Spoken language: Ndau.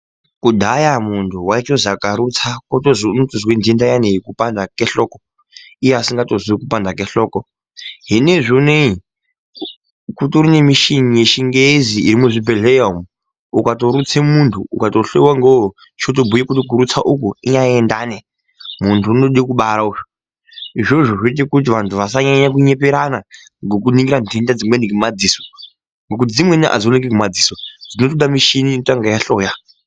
Kudhaya munhu waiti akarutsa wotozwi unozwe nhenda iyani yokupanda kwehloko ,iye asingatozwi kupanda kwenhloko hinozvi ineyi kutori nemishini yechingezi iri muzvibhehleya umu ,ukatorutse munhu ukatohloyiwa ngouwo chotombuye kuti kurutse uku inyaya yendani muntu unode kubara uyu izvozvo zviote kuti anhu asanyanye kunyeperana ngekuningira nhenda dzimweni ngemadziso ,ngekuti dzimweni adziringirwi ngemadziso dzinode mishini inotange yahloya.